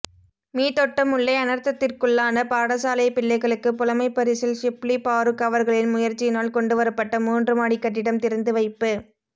மீத்தொட்டமுல்லை அனர்த்தத்திற்குள்ளான பாடசாலைப் பிள்ளைகளுக்குப் புலமைப்பரிசில் ஷிப்லி பாறுக் அவர்களின் முயற்சியினால் கொண்டுவரப்பட்ட மூன்று மாடிக் கட்டிடம் திறந்து வைப்பு